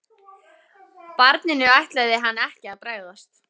Barninu ætlaði hann ekki að bregðast.